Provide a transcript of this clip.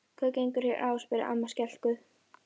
Hvað gengur hér á? spurði amma skelkuð.